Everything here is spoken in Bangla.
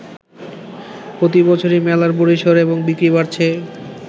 প্রতি বছরই মেলার পরিসর এবং বিক্রি বাড়ছে।